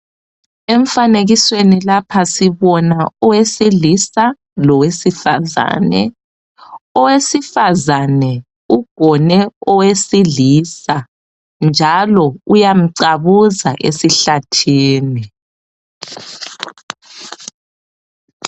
Emfanekisweni lapha sibona owesilisa lowesifazane. Owesifazane ugone owesilisa njalo uyamcabuza esihlathini.